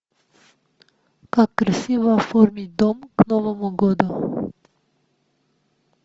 как красиво оформить дом к новому году